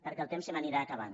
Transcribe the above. perquè el temps se m’anirà acabant